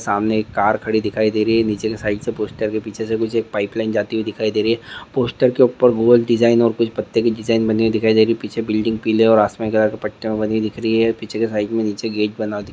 सामने एक कार खड़ी दिखाए दे रही है। निचे के साइड से पोस्टर पीछे से कुछ एक पाइप लाइन जाती हुए दिखाई दे रही है। पोस्टर के ऊपर गोल डिज़ाइन और कुछ पत्ते की डिज़ाइन बनी हुई दिखाई दे रही है। पीछे बिल्डिंग पिले और अस्मिने कलर के पटटे में बनी हुई दिख रही है। पीछे के साइड में निचे गेट बना हुआ दिख--